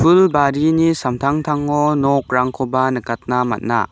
barini samtangtango nokrangkoba nikatna man·a.